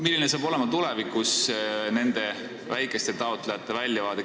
Milline hakkab tulevikus olema nende väikeste taotlejate väljavaade?